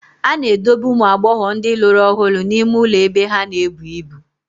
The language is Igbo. A na-edobe ụmụ agbọghọ ndị lụrụ ọhụrụ n'ime ụlọ ebe ha na-ebu ibu.